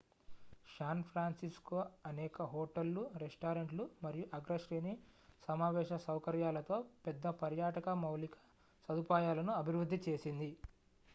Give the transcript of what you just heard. San Francisco అనేక హోటళ్ళు రెస్టారెంట్లు మరియు అగ్రశ్రేణి సమావేశ సౌకర్యాలతో పెద్ద పర్యాటక మౌలిక సదుపాయాలను అభివృద్ధి చేసింది